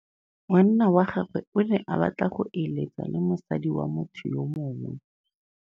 Monna wa gagwe o ne a batla go êlêtsa le mosadi wa motho yo mongwe.